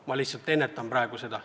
Ma lihtsalt ennustan praegu seda.